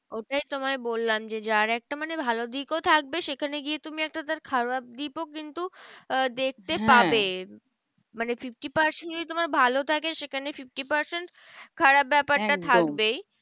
ওটাই তোমায় বললাম যে, যার একটা মানে ভালো দিক ও থাকবে। সেখানে গিয়ে তুমি একটা তার খারাপ দিকও কিন্তু দেখতে পাবে। মানে fifty percent যদি তোমার ভালো থাকে, সেখানে fifty percent খারাপ ব্যাপারটা থাকবেই।